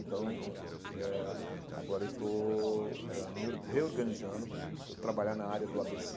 Então, eh agora eu estou ãh me or reorganizando, hum vou trabalhar na área do á bê,